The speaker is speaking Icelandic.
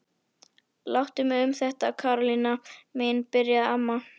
Láttu mig um þetta Karólína mín byrjaði amma.